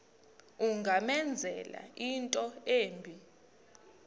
ungamenzela into embi